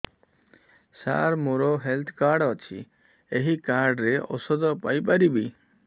ସାର ମୋର health card ଅଛି ଏହି କାର୍ଡ ରେ ଔଷଧ ପାଇପାରିବି